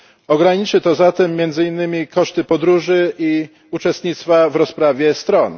Ograniczy to zatem między innymi koszty podróży i uczestnictwa w rozprawie stron.